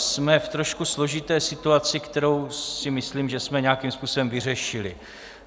Jsme v trošku složité situaci, kterou si myslím, že jsme nějakým způsobem vyřešili.